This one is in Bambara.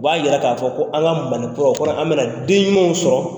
U b'a jira k'a fɔ ko an ka malikura o kɔrɔ an bɛ na den ɲumanw sɔrɔ